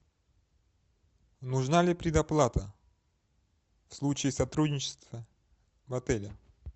нужна ли предоплата в случае сотрудничества в отеле